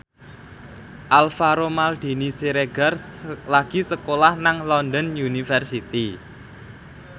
Alvaro Maldini Siregar lagi sekolah nang London University